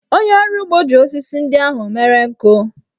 Onye ọrụ ugbo ji osisi ndị ahụ mere nkụ.